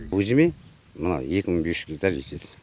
өзіме мына екі мың бес жүз гектар жетеді